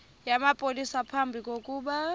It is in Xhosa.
namapolisa phambi kokuba